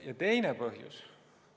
Ja teine põhjus.